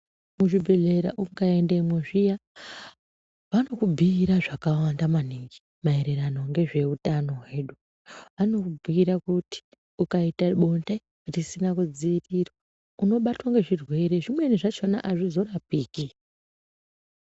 Mu zvibhedhlera uka endemwo zviya vanoku bhuira zvaka wanda maningi maererano ngezve utano hwedu vanoku bhuyira kuti uka ita bonde risina ku dzivirirwa uno batwa ne zvirwere zvimweni zvachona azvizo rapiki.